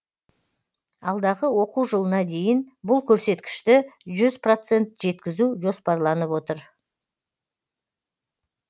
алдағы оқу жылына дейін бұл көрсеткішті жүз процент жеткізу жоспарланып отыр